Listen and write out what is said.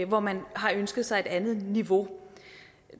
hvor man har ønsket sig et andet niveau